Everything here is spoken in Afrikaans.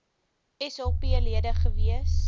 sap lede gewees